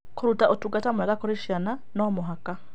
Kũruta ũtungata mwega kũrĩ ciana nĩ mũhaka.